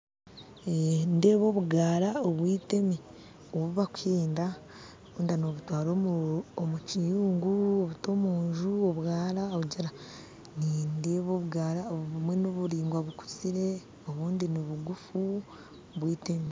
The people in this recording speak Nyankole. Nindeeba obugaara obwitemi obubakuhenda wayenda n'obutwara omu kiyungu obuta omunju obwaara nindeeba obugaara obumwe nibiraingwa bukuziire obundi nibuguufu bwiteemi